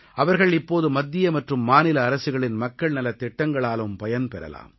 அவர்கள் இப்போது மத்திய மற்றும் மாநில அரசுகளின் மக்கள் நலத் திட்டங்களாலும் பயன்பெறலாம்